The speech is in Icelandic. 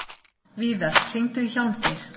Víðar, hringdu í Hjálmgeir.